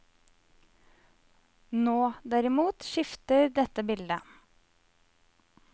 Nå, derimot, skifter dette bildet.